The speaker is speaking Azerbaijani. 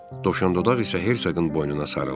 Dovşandodaq isə Hersoqun boynuna sarıldı.